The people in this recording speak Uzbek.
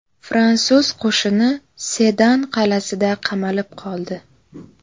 Fransuz qo‘shini Sedan qal’asida qamalib qoldi.